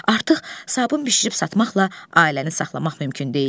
Artıq sabun bişirib satmaqla ailəni saxlamaq mümkün deyildi.